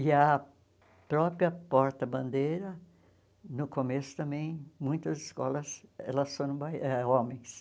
E a própria porta-bandeira, no começo também, muitas escolas, elas foram bai eh homens.